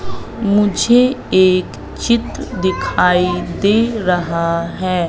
मुझे एक चित्र दिखाई दे रहा है।